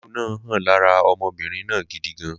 Lílu náà hàn lára ọmọbìnrin náà gidi gan